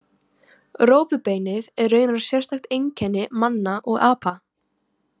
Rófubeinið er raunar sérstakt einkenni manna og apa.